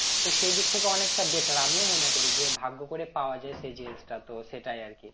তো সেদিক থেকে অনেকটা better আমিও মনে করি যে ভাগ্য করে পাওয়া যায় সেই জিনিসটা তো সেটাই আর কি